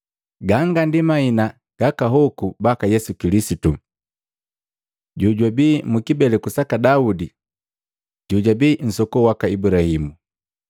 Ganga ndi mahina gaka hoku baka Yesu Kilisitu, jojabii mu kibeleku saka Daudi, jojabii nsoko waka Ibulahimu.